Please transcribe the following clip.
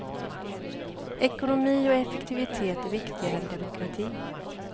Ekonomi och effektivitet är viktigare än demokrati.